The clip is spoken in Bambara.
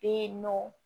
Be yen nɔ